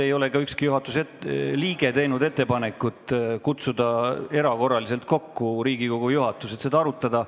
Ei ole ka ükski juhatuse liige teinud ettepanekut kutsuda Riigikogu juhatus erakorraliselt kokku, et seda protesti arutada.